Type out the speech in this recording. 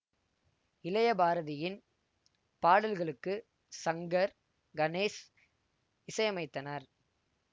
இளையபாரதியின் பாடல்களுக்கு சங்கர் கணேஷ் இசையமைத்தனர்